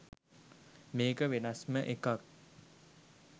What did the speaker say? මේක වෙනස්ම එකක්